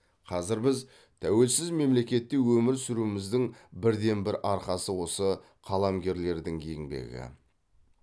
қазір біз тәуелсіз мемлекетте өмір сүруіміздің бірден бір арқасы осы қаламгерлердің еңбегі